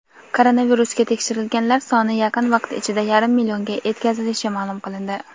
Koronavirusga tekshirilganlar soni yaqin vaqt ichida yarim millionga etkazilishi ma’lum qilindi.